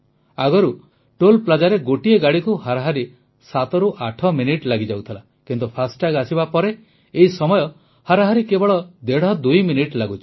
ଆଗରୁ ଟୋଲ୍ Plazaରେ ଗୋଟିଏ ଗାଡ଼ିକୁ ହାରାହାରି 7 ରୁ 8 ମିନିଟ୍ ଲାଗିଯାଉଥିଲା କିନ୍ତୁ ଫାଷ୍ଟାଗ୍ ଆସିବା ପରେ ଏହି ସମୟ ହାରାହାରି କେବଳ ଦେଢ଼ଦୁଇ ମିନିଟ୍ ଲାଗୁଛି